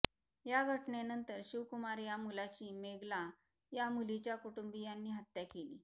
या घटनेनंतर शिवकुमार या मुलाची मेगला या मुलीच्या कुटुंबीयांनी हत्या केली